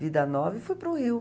vida nova e fui para o Rio.